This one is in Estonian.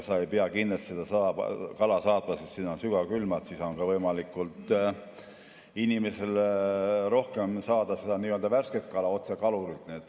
Sa ei pea kindlasti seda kala saatma sügavkülma ja siis on ka inimestel võimalik rohkem saada värsket kala otse kalurilt.